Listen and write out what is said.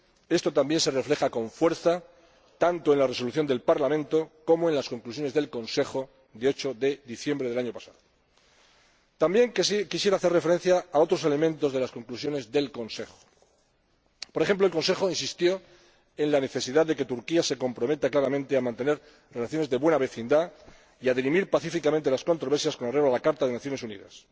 Esto también se refleja con fuerza tanto en la Resolución del Parlamento como en las conclusiones del Consejo de 8 de diciembre del año pasado. También quisiera hacer referencia a otros elementos de las conclusiones del Consejo. Por ejemplo, el Consejo insistió en la necesidad de que Turquía se comprometa claramente a mantener relaciones de buena vecindad y a dirimir pacíficamente las controversias con arreglo a la Carta de las Naciones Unidas,